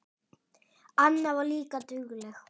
Anna var líka dugleg.